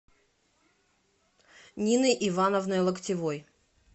ниной ивановной локтевой